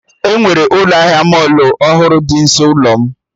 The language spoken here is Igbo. Enwere ụlọ ahịa mọlụ ọhụrụ dị nso ụlọ m